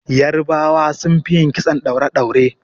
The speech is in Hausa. Yarbawa sun fi yin kitson ɗaure-ɗaure.